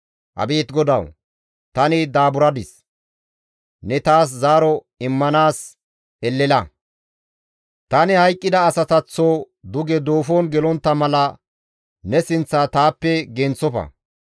Abeet GODAWU! Tani daaburadis; ne taas zaaro immanaas elela! Tani hayqqida asataththo duge duufon gelontta mala ne sinththa taappe genththofa.